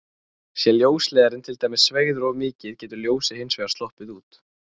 Sé ljósleiðarinn til dæmis sveigður of mikið getur ljósið hins vegar sloppið út.